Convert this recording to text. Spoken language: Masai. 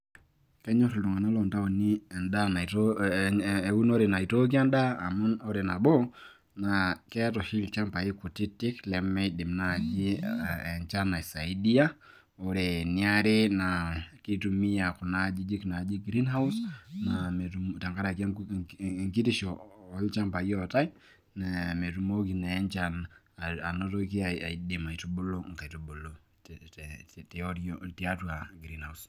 kenyor iltung'anak loo ntaoni edaa naitoo, eunore naitooki edaa, amu ore nabo keeta oshi ilchampai kutitik lemeidim naaji enchan aisaidia, ore eniare naa kitumiya kuna ajijik naaji greenhouse naa metum tenkaraki enkitisho oolchampai ootae, metumoki naa enchan, anotoki anyaaki anotoki aitubulu nkaitubulu tiatu greenhouse.